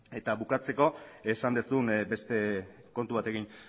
eta bukatzeko esan duzun beste kontu batekin